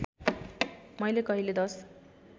मैले कहिले १०